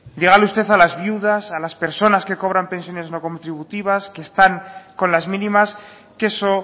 dígale usted a las viudas a las personas que cobran pensiones no contributivas que están con las mínimas que eso